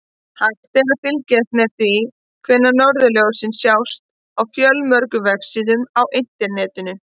Hægt er að fylgjast með því hvenær norðurljósin sjást á fjölmörgum vefsíðum á Internetinu.